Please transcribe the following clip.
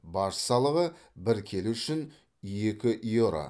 баж салығы бір келі үшін екі еуро